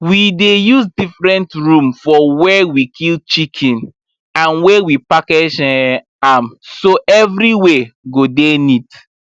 we dey use different room for where we kill chicken and where we package um am so everywhere go dey neat